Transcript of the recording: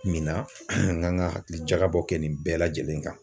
Min na n ka kan ka hakilijagabɔ kɛ nin bɛɛ lajɛlen kan